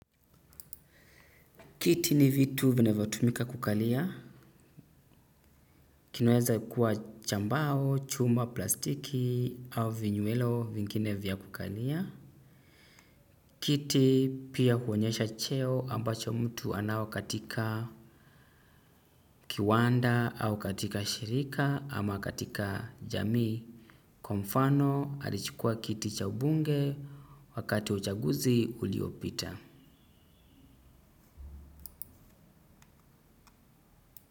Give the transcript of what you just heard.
Kiti ni vitu vinavyotumika kukalia. Kinaweza kuwa cha mbao, chuma, plastiki au vinyuelo vingine vya kukalia. Kiti pia huonesha cheo ambacho mtu anao katika. Kiwanda au katika shirika ama katika jamii. Kwa mfano alichukua kiti cha ubunge wakati wa uchaguzi uliopita.